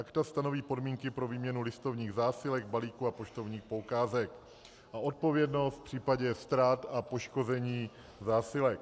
Akta stanoví podmínky pro výměnu listovních zásilek, balíků a poštovních poukázek a odpovědnost v případě ztrát a poškození zásilek.